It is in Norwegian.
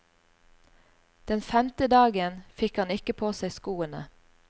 Den femte dagen fikk han ikke på seg skoene.